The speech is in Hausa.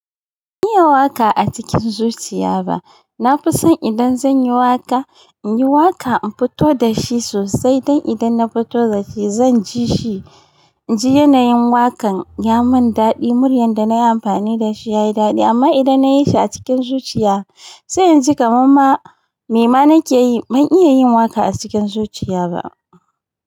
Ban iya waƙa a cikin zuciya ba. Na fi son idan zan yi waƙa, in yi waƙa in fito da shi sosai don idan na fito da shi zan ji shi. In ji yanayin waƙan ya mun daɗi, muryar da nayi amfani da shi yayi daɗi amma idan na yi shi a cikin zuciya sai in ji kamar ma me ma nake yi. Ban iya yin waka a cikin zuciya ba.